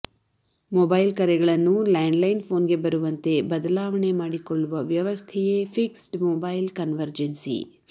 mobile ಕರೆಗಳನ್ನು landline ಪೋನ್ಗೆ ಬರುವಂತೆ ಬದಲಾವಣೆ ಮಾಡಿಕೊಳ್ಳುವ ವ್ಯವಸ್ಥೆಯೇ ಫಿಕ್ಸ್ಡ್ ಮೊಬೈಲ್ ಕನ್ವರ್ಜೆನ್ಸಿ